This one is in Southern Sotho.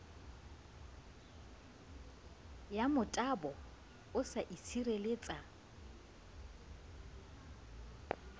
ya motabo o sa itshireletsa